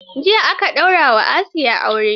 Jiya aka daura wa Asiya aure.